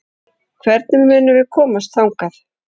Hvernig munum við komast þangað?